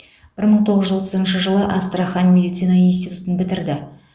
бір мың тоғыз жүз отызыншы жылы астрахань медицина институтын бітірді